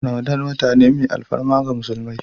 Ramadan wata ne mai alfarma ga musulmi.